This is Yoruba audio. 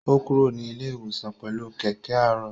Ó kúrò ní ilé-ìwòsàn pẹlú kẹkẹ aarọ